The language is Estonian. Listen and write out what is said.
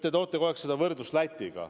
Te toote kogu aeg võrdluseks Läti.